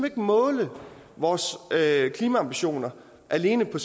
ikke måle vores klimaambitioner alene på